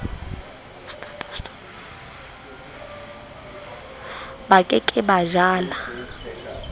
ba ke ke ba jala